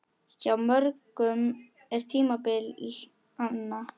Hjá mörgum er tímabil anna.